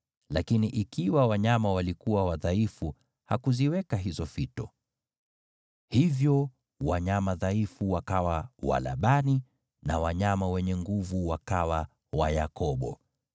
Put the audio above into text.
lakini ikiwa wanyama walikuwa wadhaifu hakuziweka hizo fito. Hivyo wanyama wadhaifu wakawa wa Labani, na wanyama wenye nguvu wakawa wa Yakobo.